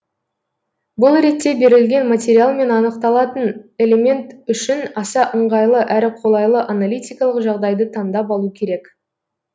бұл ретте берілген материал мен анықталатын элемент үшін аса ыңғайлы әрі қолайлы аналитикалық жағдайды таңдап алу керек